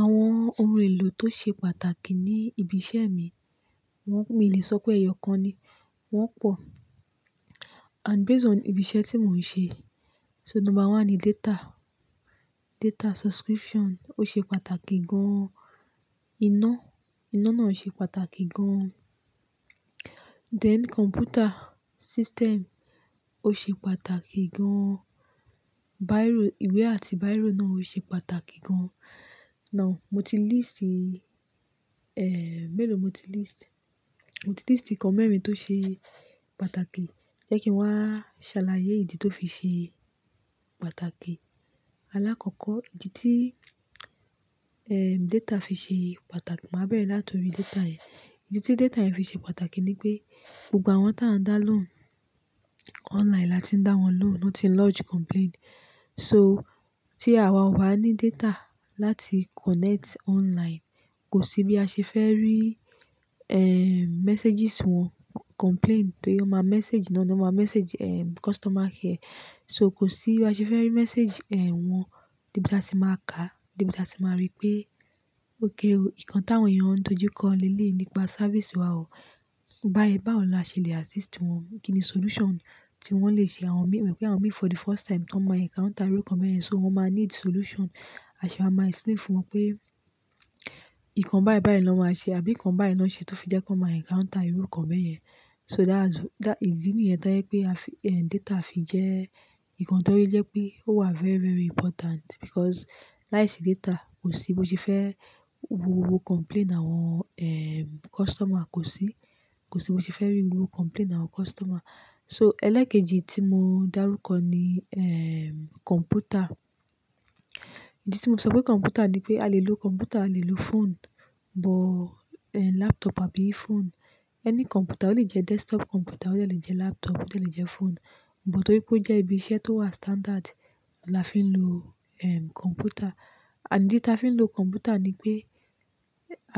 Àwọn ohun èlò tó ṣe pàtàkì ní ibi iṣẹ́ mi, mi ò lè sọ pé ẹyọ̀kan ni. Wọ́n pọ̀ and based on ibi iṣẹ́ tí mò ń ṣe. So number one ni data. Data subscription ó ṣe pàtàkì gan. Iná, iná náà ṣe pàtàkì gan. Then computer system ó ṣe pàtàkì gan. Bíró, ìwé àti bíró náà ó ṣe pàtàkì gan. Now mo ti list, mélòó mo ti list? Mo ti list to mẹ́rin tó ṣe pàtàkì. Jẹ́ kí n wá ṣàlàyé ìdí tó fi ṣe pàtàkì. Alákọ̀ọ́kọ́, ìdí tí, eh, data fi ṣe pàtàkì, màá bẹ̀rẹ̀ láti orí data yẹn. Ìdí tí data yẹn fi ṣe pàtàkì ni pé gbogbo àwọn táa ń dá lóùn online láti ń dá wọn lóùn, wọ́n ti ń lodge complaint. So tí àwa ò bá ní data láti connect online, kò sí bí a ṣe fẹ́ rí, eh, messages wọn, complaint pé ọ má message in and ọ má message, eh, customer care. So kò sí bí a ṣe fẹ́ rí message, eh, wọn, níbi tí a ti máa ka, níbi tí a ti máa rí pé, "Ok o, nǹkan táa ń yàn dojú kọ́ le le nípa sẹ́rvisì wa o. Bá ẹ bawo laa ṣe lè assist wọn. Kí ni solution tí wọ́n lè ṣe?" Àwọn mi n pé àwọn mì for the first time tó máa encounter irú nǹkan bẹ́ẹ̀ yẹn, so wọ́n máa need solution. A sì máa ma explain fún wọn pé ìkan bái bái ẹ lọ́ ma ṣe àbí nǹkan bái lọ́ n ṣe tó fi jẹ́ kí wọ́n máa encounter irú nǹkan bẹ́ẹ̀ yẹn. So that's-- ìdí nìyẹn to yẹ pé a fi, eh, data fi jẹ́ nǹkan tó rí jẹ́ pé ó wà very, very important because láìsí data kò sí bó ṣe fẹ́ wo complaint àwọn, customer kò sí. Kò sí bó ṣe fẹ́ rí gbogbo complaint àwọn customer. So ẹlẹ́kẹ́jì tí mo dárúkọ ni, eh, computer. Ìdí tí mo sọ pé computer ni pé a lè lo computer, a lè lo phone, but, laptop àbí phone. Any computer, ó lè jẹ́ desktop computer, ó lè jẹ́ laptop, ó lè jẹ́ phone. But torí pé ó jẹ́ ibi iṣẹ́ tó wà standard la fi ń lo, ehn computer. And ìdí tí a fi ń lo computer ni pé--